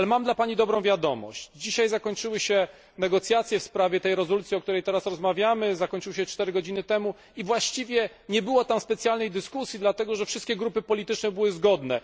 Mam dla Pani dobrą wiadomość dzisiaj zakończyły się negocjacje w sprawie tej rezolucji, o której rozmawiamy, zakończyły się 4 godziny temu i właściwie nie było tam specjalnej dyskusji, dlatego że wszystkie grupy polityczne były zgodne.